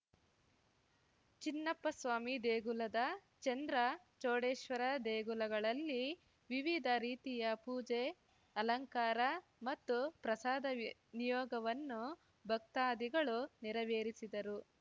ಚಿನ್ನಪ್ಪಸ್ವಾಮಿ ದೇಗುಲದ ಚಂದ್ರ ಚೂಡೇಶ್ವರ ದೇಗುಲಗಳಲ್ಲಿ ವಿವಿಧ ರೀತಿಯ ಪೂಜೆ ಅಲಂಕಾರ ಮತ್ತು ಪ್ರಸಾದ ವಿ ನಿಯೋಗವನ್ನು ಭಕ್ತಾದಿಗಳು ನೆರವೇರಿಸಿದರು